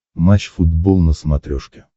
матч футбол на смотрешке